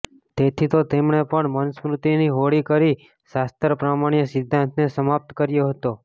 તેથી તો તેમણે પણ મનુસ્મૃતિની હોળી કરી શાસ્ત્ર પ્રામાણ્ય સિદ્ધાંતને સમાપ્ત કર્યો હતો